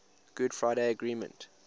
good friday agreement